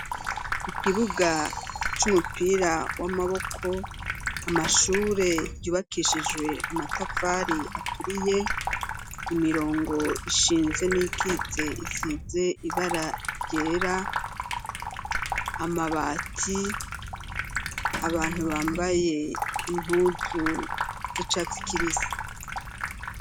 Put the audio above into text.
Ikibuga c'umupira w'amaboko, amashure yubakishijwe amatafari aturiye, imirongo ishinze n'iyitse isize ibara ryera, amabati, abantu bambaye impuzu z'icatsi kibisi.